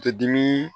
Te dimi